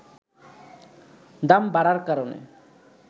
দাম বাড়ার কারণে